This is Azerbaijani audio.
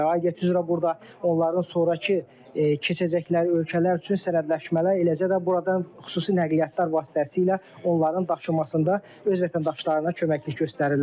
aidiyyəti üzrə burada onların sonrakı keçəcəkləri ölkələr üçün sənədləşmələr, eləcə də buradan xüsusi nəqliyyatlar vasitəsilə onların daşınmasında öz vətəndaşlarına köməklik göstərirlər.